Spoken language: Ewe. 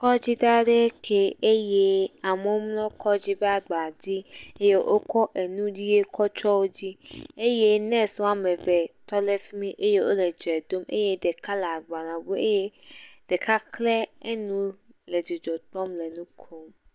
Kɔdzi ɖe aɖee kee eye amewo mlɔ kɔdzi ƒe aba dzi eye wokɔ enu ʋi kɔtsɔ wo dzi eye nɔsi wɔme eve tɔ ɖe fi mi eye wo le dze ɖom eye ɖeka le agbale ŋum eye ɖeka kle enu le dzidzɔkpɔm le nu kom.